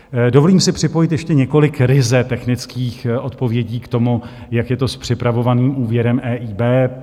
Dovolím si připojit ještě několik ryze technických odpovědí k tomu, jak je to s připravovaným úvěrem EIB.